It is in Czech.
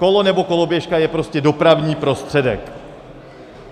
Kolo nebo koloběžka je prostě dopravní prostředek.